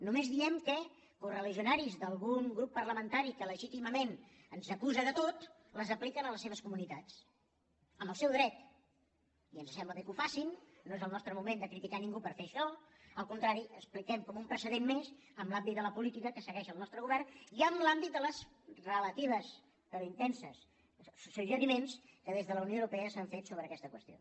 només diem que correligionaris d’algun grup parlamentari que legítimament ens acusa de tot les apliquen a les seves comunitats en el seu dret i ens sembla bé que ho facin no és el nostre moment de criticar ningú per fer això al contrari ho expliquem com un precedent més en el l’àmbit de la política que segueix el nostre govern i en l’àmbit dels relatius però intensos suggeriments que des de la unió europea s’han fet sobre aquesta qüestió